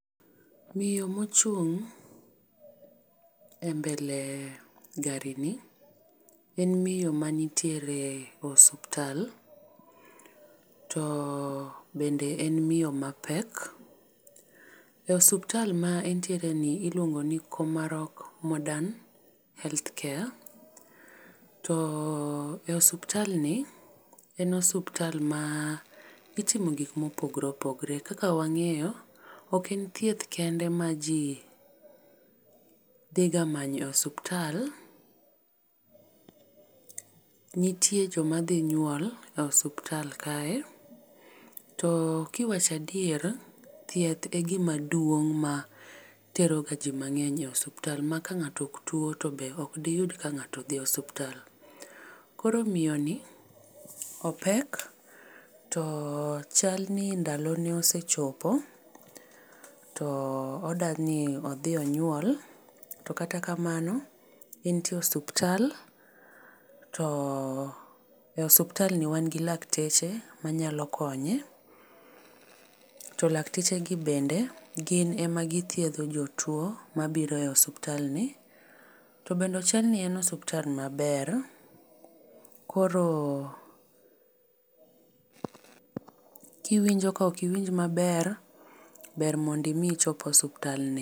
Miyo mochung' e mbele garini en miyo manitiere osuptal to bende en miyo mapek. E osuptal ma entiere ni iluongo ni Komarock modern healthcare to e osuptalni en osuptal ma itimo gikmopogre opogre kaka wang'eyo oken thieth kende ma ji dhi ga manyo osuptal, nitie joma dhi nyuol e osuptal kae to kiwach adier thieth e gimaduong' materoga ji mang'eny e osuptal ma ka ng'ato oktuo to be okdityud ka ng'ato dhi osuptal. Koro miyoni opek to chalni ndalone osechopo to odani odhi onyuol to kata kamano entie osuptal to e osuptalni wan gi lakteche manyalo konye to lakteche gi bende gin ema githiedho jotuo mabiro e osuptalni to bende chalni en osuptal maber koro kiwinjo ka okiwinj maber, ber mondo imi ichop osuptalni.